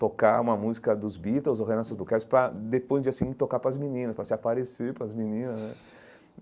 tocar uma música dos Beatles ou Reynaldson Bucharest, para depois de assim, tocar para as meninas, para se aparecer para as meninas né.